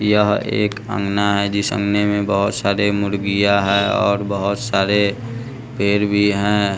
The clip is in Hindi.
यह एक अंगना है जिस अंगने में बहुत सारे मुर्गियाँ है और बहुत सारे पेर भी हैं।